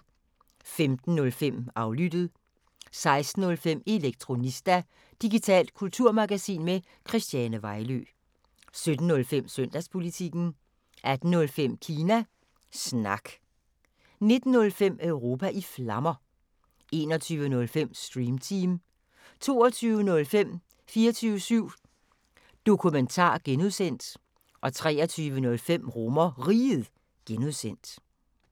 15:05: Aflyttet 16:05: Elektronista – digitalt kulturmagasin med Christiane Vejlø 17:05: Søndagspolitikken 18:05: Kina Snak 19:05: Europa i Flammer 21:05: Stream Team 22:05: 24syv Dokumentar (G) 23:05: RomerRiget (G)